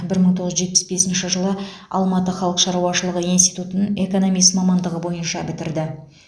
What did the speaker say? бір мың тоғыз жүз жетпіс бесінші жылы алматы халық шаруашылығы институтын экономист мамандығы бойынша бітірді